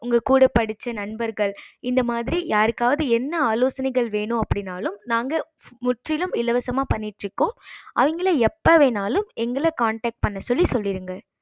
உங்க கூட படிச்ச நண்பர்கள் இந்த மாறி யாருகாவது என்ன ஆலோசனைகள் வென்னும் அப்படினாலும் நாங்க முற்றிலும் இலவசமா பண்ணிட்டு இருக்கோம் அவங்கள எப்போ வேன்னுனாலும் எங்கள connect பண்ண சொல்லிருங்க